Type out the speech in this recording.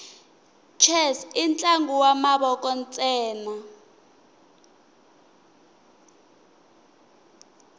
chess intlangu wamavoko nsena